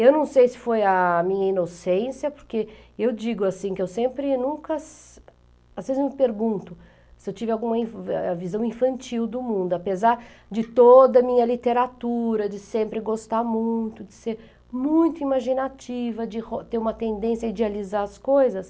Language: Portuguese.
Eu não sei se foi a minha inocência, porque eu digo assim que eu sempre nunca... Às vezes eu me pergunto se eu tive alguma visão infantil do mundo, apesar de toda a minha literatura, de sempre gostar muito, de ser muito imaginativa, de ter uma tendência a idealizar as coisas.